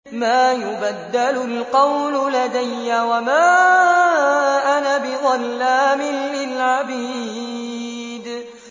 مَا يُبَدَّلُ الْقَوْلُ لَدَيَّ وَمَا أَنَا بِظَلَّامٍ لِّلْعَبِيدِ